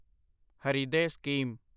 Hriday scheme